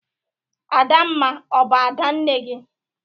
Adamma ọ bụ Ada nne gị?